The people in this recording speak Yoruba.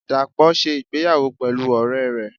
dapo se ìgbéyàwó pelú ore re.